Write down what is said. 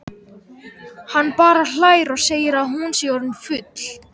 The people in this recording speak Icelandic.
Hann bara hlær og segir að hún sé orðin full.